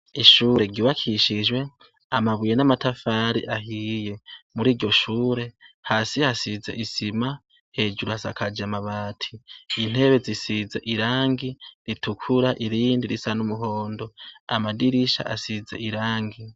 Ishure ryubakishijwe amabuye n'amatafari ahiye. Mur'iryo shure hasi hasize isima, hejuru hasakaje amabati. Intebe zisize irangi ritukura irindi risa n'umuhondo. Amadirisha asize irangi.